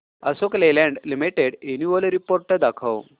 Ashok Leyland limited annual report दाखव